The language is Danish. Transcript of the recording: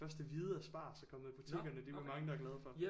Første hvide asparges er kommet i butikkerne det er vi mange der er glade for